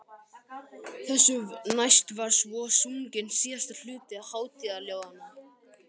Þessu næst var svo sunginn síðasti hluti hátíðaljóðanna.